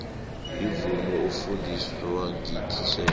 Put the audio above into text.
imvumo ofundiswa ngititjhere